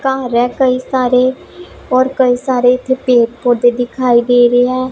ਘਰ ਹੈ ਕਈ ਸਾਰੇ ਔਰ ਕਈ ਸਾਰੇ ਇੱਥੇ ਪੇੜ ਪੌਧੇ ਦਿਖਾਈ ਦੇ ਰਹੇ ਹੈ।